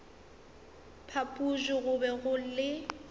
phapoši go be go le